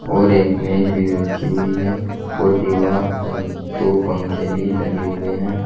और एक मेज भी रखी हुई है और दीवार पर दो पंखे भी लगे हुए हैं।